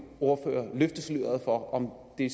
ordfører løfte sløret for om det